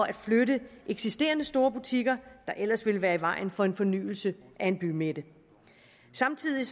at flytte eksisterende store butikker der ellers ville være i vejen for en fornyelse af en bymidte samtidig